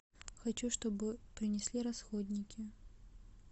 хочу чтобы принесли расходники